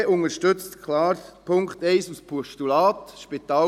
Die SVP unterstützt den Punkt 1 als Postulat klar.